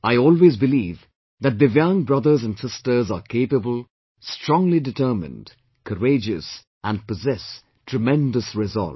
I always believe that Divyang brothers and sisters are capable, strongly determined, courageous and possess tremendous resolve